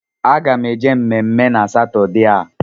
Aga m eje mmemme na Satọdee a